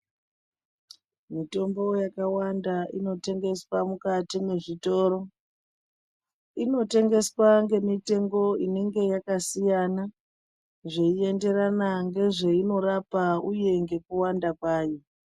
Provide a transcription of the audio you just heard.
Mutombo yakawanda inotengeswa mukati mwezvitoro inotengeswa ngemitengo inenge yakasiyana zveienderana ngezveinorapa uye ngekuwanda kwayo.